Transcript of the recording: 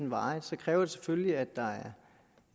meget så kræver det selvfølgelig at der